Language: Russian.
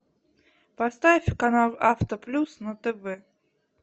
поставь канал авто плюс на тв